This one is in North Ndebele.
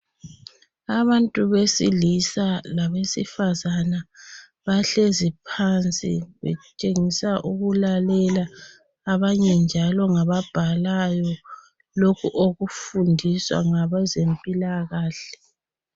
Abantu besilisa labesifazana bahlezi phansi betshengisa ukulalale abanye njalo ngabhalayo lokhu okufundiswa ngabazempilakahle.